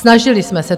Snažili jsme se.